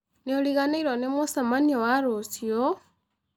Nĩũrĩganĩĩrwo nĩ mũcemanĩo wa rũcĩũ?